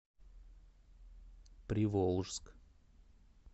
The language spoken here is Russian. приволжск